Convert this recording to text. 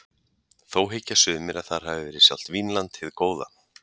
Þó hyggja sumir að þar hafi verið sjálft Vínland hið góða.